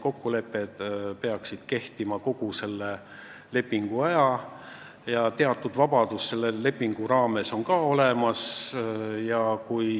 Kokkulepped peaksid kehtima kogu selle lepingu aja ja teatud vabadus on selle lepingu raames ka olemas.